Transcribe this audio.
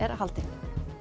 haldin